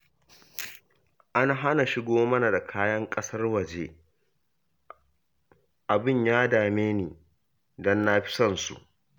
An hana shigo mana da kayan ƙasar waje, abin ya dame ni, don na fi son su